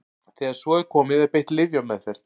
Þegar svo er komið er beitt lyfjameðferð.